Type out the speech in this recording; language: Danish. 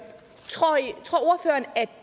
at